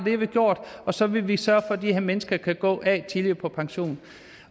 har vi gjort og så vil vi sørge for at de her mennesker kan gå tidligere på pension